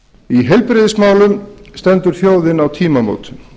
í heilbrigðismálum stendur þjóðin á tímamótum